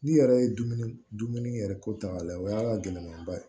N'i yɛrɛ ye dumuni dumuni yɛrɛ ko ta k'a lajɛ o y'a gɛlɛnmanba ye